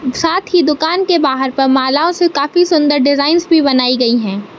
साथ ही दुकान के बाहर पर मालाओं से काफी सुंदर डिजाइन्स भी बनाई गई हैं।